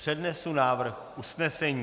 Přednesu návrh usnesení: "